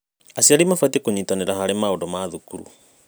Aciari mabatiĩ kũnyitanĩra harĩ maũndũ ma thukuru.